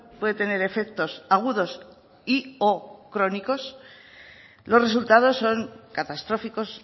puede tener efectos agudos y o crónicos los resultados son catastróficos